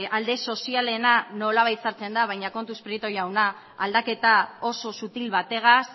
alde sozialena nolabait sartzen da baina kontuz prieto jauna aldaketa oso sutil bategaz